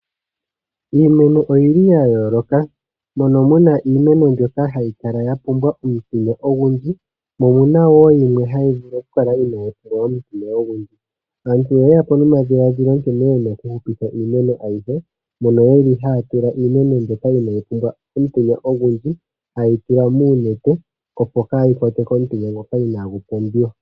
Iimeno oyili ya yooloka, mono muna iimeno mbyoka hayi kala ya pumbwa omutenya ogundji mo omuna woo yimwe mbyoka inayi pumbwa omutenya ogundji .Aantu oyeyapo nomadhiladhilo nkene yena oku hupitha iimeno ayihe mono yeli haya tula iimeno mbyoka inayi pumbwa omutenya ogundji hayeyi tula moonete opo kayi kwatwe komutenya ngoka inagu pumbiwa.